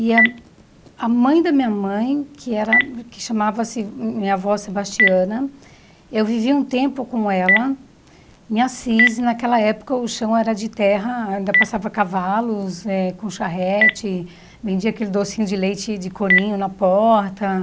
E a a mãe da minha mãe, que era que chamava-se minha avó Sebastiana, eu vivi um tempo com ela em Assis, e naquela época o chão era de terra, ainda passava cavalos eh com charrete, vendia aquele docinho de leite de coninho na porta.